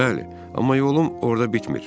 Bəli, amma yolum orda bitmir.